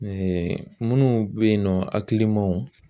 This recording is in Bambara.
minnu bɛ yen nɔ hakilimaw